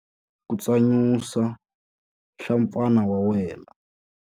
Khotsa nenge wa wena ku tsanyusa nhlampfana ya wena.